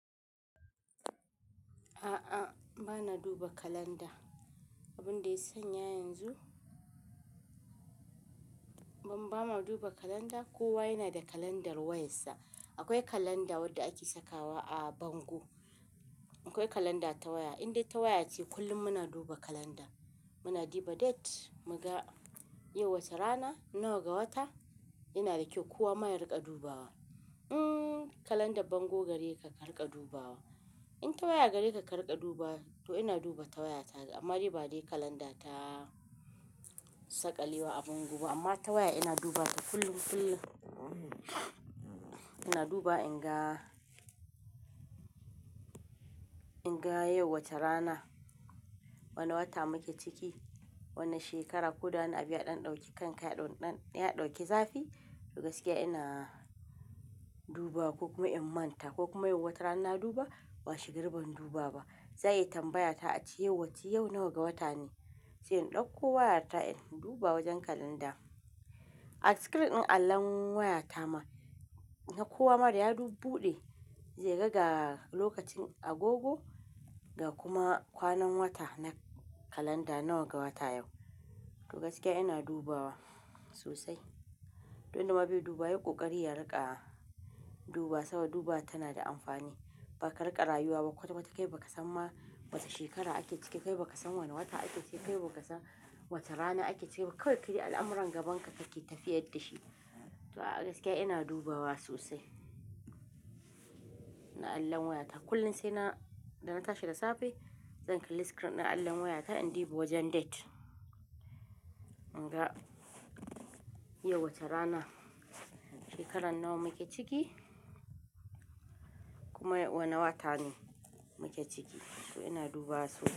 A'a, ba na duba kalanda. Abin da ya sanya yanzu bama duba kalanda, kowa yana da kalandar wayarsa. Akwai kalanda wadda ake sakawa a bango. Akwai kalanda ta waya, indai ta waya ce kullum muna duba kalanda. Muna duba date, muga yau wace rana, nawa ga wata. Yana da kyau, kowa ma ya riƙa dubawa. Mm, kalandar bango gare ka ka riƙa dubawa. In ta waya gare ka ka riƙa dubawa, to ina duba ta waya ta. Amma dai ba dai kalanda ta saƙa lewa a bango ba amma ta waya ina duba ta kullum, kullum. Ina dubawa in ga, in ga yau wace rana, wane wata muke ciki, wane shekara. Ko da wani abu ya ɗanɗauki kanka ya ɗauki zafi, to gaskiya ina duba ko kuma in manta ko kuma yau wace rana na duba washe gari ban duba ba, za a iya tambaya ta a ce yau wace, yau nawa ga wata ne? Sai in ɗauko wayata in duba wajen kalanda. A screen ɗin allon wayata ma, kowa ma da ya buɗe zai ga ga lokacin agogo ga kuma kwanan wata na kalanda nawa ga wata yau. To gaskiya ina dubawa sosai. Duk wanda ma bai dubawa yayi ƙoƙari ya riƙa dubawa saboda dubawar tana da amfani. Bakariƙa rayuwa ba kwata-kwata kai bakasan ma wace shekara ake ciki, kai bakasan wane wata ake ciki, ba kai bakasan wace rana ake ciki. Kawai kai al'amuran gabanka kake tafiyar da shi. To a gaskiya ina dubawa sosai. Na allon wayata kullum sai na, idab na tashi da safe zan kalli screen ɗin allon wayata in duba wajen date. In ga yau wace rana, shekaran nawa muke ciki kuma wane wata ne muke ciki. To ina duba su.